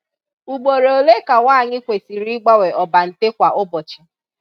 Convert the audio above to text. Ugboro ole ka nwaanyị kwesịrị ịgbanwe ọbante kwa ụbọchị?